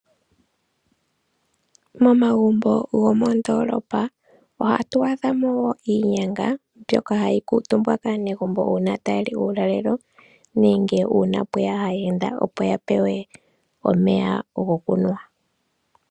Momagumbo gomoondoolopa ohatu adha mo wo iinyanga mbyoka hayi kuutumbwa kaa negumbo uuna taya li uulalelo ,nenge pweya aayenda opo ya pewe omeya gokunwa.